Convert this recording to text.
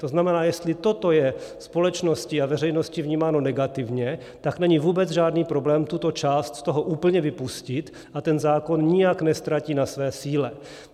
To znamená, jestli toto je společností a veřejností vnímáno negativně, tak není vůbec žádný problém tuto část z toho úplně vypustit a ten zákon nijak neztratí na své síle.